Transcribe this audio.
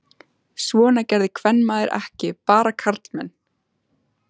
Svona gerði kvenmaður ekki, bara karlmenn.